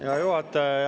Hea juhataja!